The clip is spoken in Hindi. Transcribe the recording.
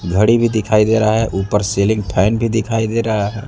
घड़ी भी दिखाई दे रहा है ऊपर सीलिंग फैन भी दिखाई दे रहा है।